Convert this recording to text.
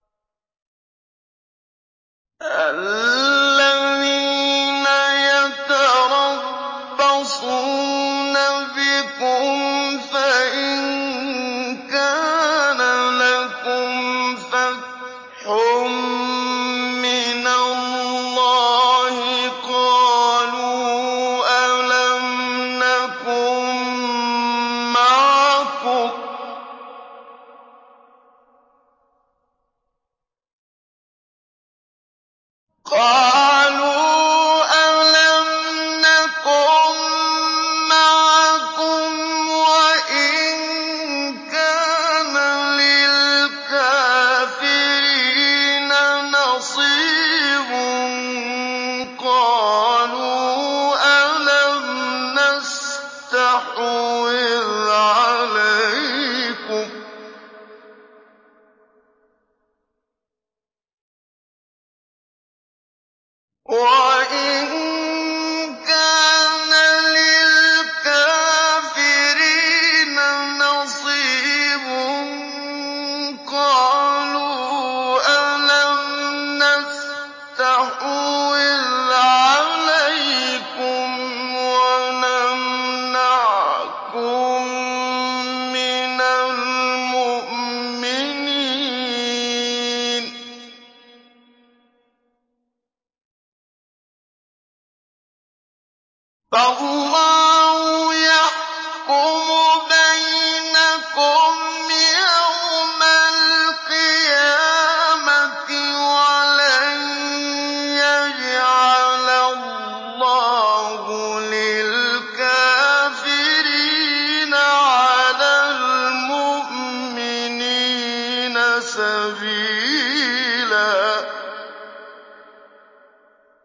الَّذِينَ يَتَرَبَّصُونَ بِكُمْ فَإِن كَانَ لَكُمْ فَتْحٌ مِّنَ اللَّهِ قَالُوا أَلَمْ نَكُن مَّعَكُمْ وَإِن كَانَ لِلْكَافِرِينَ نَصِيبٌ قَالُوا أَلَمْ نَسْتَحْوِذْ عَلَيْكُمْ وَنَمْنَعْكُم مِّنَ الْمُؤْمِنِينَ ۚ فَاللَّهُ يَحْكُمُ بَيْنَكُمْ يَوْمَ الْقِيَامَةِ ۗ وَلَن يَجْعَلَ اللَّهُ لِلْكَافِرِينَ عَلَى الْمُؤْمِنِينَ سَبِيلًا